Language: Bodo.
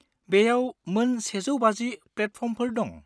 बेयाव मोन 150 प्लेटफर्मफोर दं।